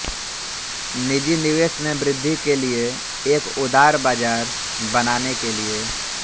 निजी निवेश में वृद्धि के लिए एक उदार बाजार बनाने के लिए